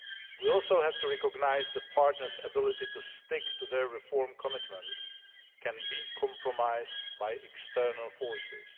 We also have to recognise that partners' ability to stick to their reform commitments can be compromised by external forces.